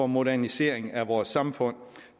modernisering af vores samfund